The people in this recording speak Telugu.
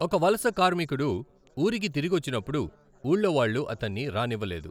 ఒక వలస కార్మికుడు ఊరికి తిరిగొచ్చినప్పుడు ఊళ్ళో వాళ్ళు అతణ్ణి రానివ్వలేదు.